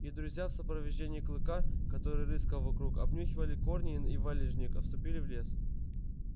и друзья в сопровождении клыка который рыскал вокруг обнюхивая корни и валежник вступили в лес